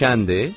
Şəndir?